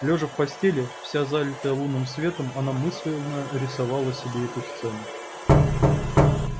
лёжа в постели вся залитая лунным светом она мысленно рисовала себе эту сцену